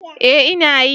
Ee ina yi.